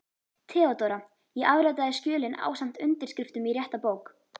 THEODÓRA: Ég afritaði skjölin ásamt undirskriftum í rétta bók.